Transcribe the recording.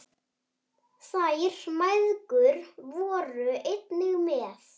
Þær mæðgur voru einnig með.